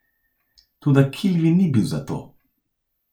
Toda Kilvin ni bil za to.